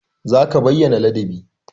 Za ka bayyana ladabi!